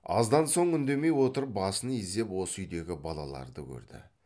аздан соң үндемей отырып басын изеп осы үйдегі балаларды көрді